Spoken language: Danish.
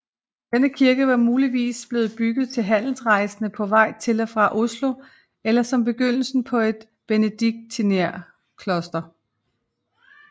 Denne kirke var muligvis blevet bygget til handelsrejsende på vej til og fra Oslo eller som begyndelsen på et benedictinerkloster